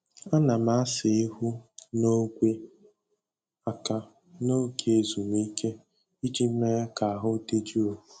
Ana m asa ihu na ogwe aka n'oge ezumike iji mee ka ahụ dị jụụ.